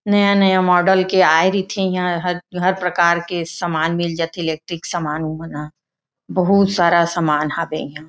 नया-नया मॉडल के आय रिथे यहां हर प्रकार के समान मिल जाथे इलेक्ट्रिक समान ओ म ना बहुत सारा समान हवे इहां।